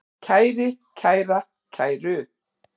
kæri, kæra, kæru